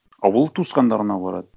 а ол туысқандарына барады